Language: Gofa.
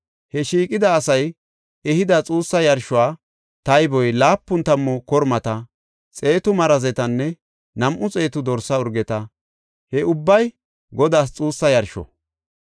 He shiiqida asay ehida xuussa yarsho tayboy laapun tammu kormata, xeetu marazetanne nam7u xeetu dorsa urgeta; he ubbay Godaas xuussa yarsho.